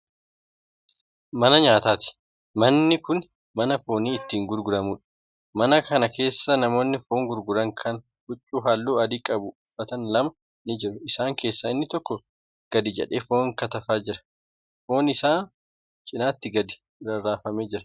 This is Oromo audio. Mana nyaataati. manni Kuni mana foon itti gurguramuudha. mana Kana keessaa namoonni foon gurguran Kan huccuu halluu adii qabu uffatan lama ni jiru. isaan keessaa inni tokko gadi jedhee foon kattafaa Jira. foon isaan cinaatti gadi rarraafamee Jira.